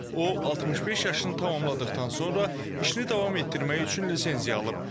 O, 65 yaşını tamamladıqdan sonra işini davam etdirmək üçün lisenziya alıb.